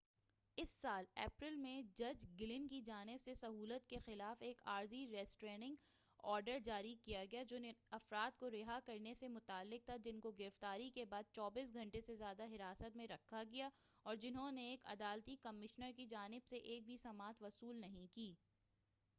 اس سال اپریل میں جج گلن کی جانب سے سہولت کے خلاف ایک عارضی ریسٹریننگ آرڈر جاری کیا گیا جو اُن افراد کو رہا کرنے سے متعلق تھا جن کو گرفتاری کے بعد 24 گھنٹے سے زیادہ حراست میں رکھا گیا اور جنہوں نے ایک عدالتی کمشنر کی جانب سے ایک بھی سماعت وصول نہیں کی